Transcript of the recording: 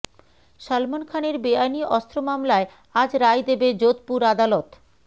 সলমন খানের বেআইনি অস্ত্র মামলায় আজ রায় দেবে যোধপুর আদালত